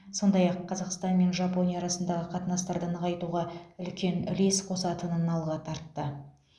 сондай ақ қазақстан мен жапония арасындағы қатынастарды нығайтуға үлкен үлес қосатынын алға тартты